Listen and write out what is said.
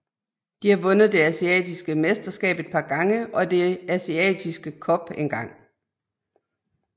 De har vundet det asiatiske mesterskab et par gange og det asiatiske cup engang